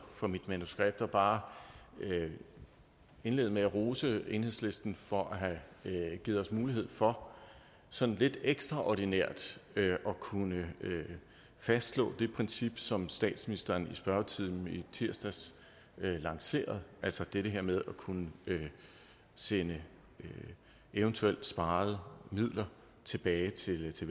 for mit manuskript og bare indlede med at rose enhedslisten for at have givet os mulighed for sådan lidt ekstraordinært at kunne fastslå det princip som statsministeren i spørgetimen i tirsdags lancerede altså det her med at kunne sende eventuelt sparede midler tilbage til til